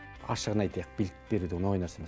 ашығын айтайық билік беру деген оңай нәрсе емес